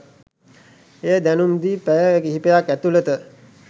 එය දැනුම් දී පැය කිහිපයක් ඇතුලත